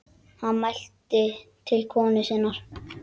Hann mælti til konu sinnar: